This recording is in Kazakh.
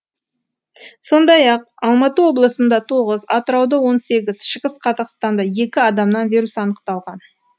сондай ақ алматы облысында тоғыз атырауда он сегі шығыс қазақстанда екі адамнан вирус анықталған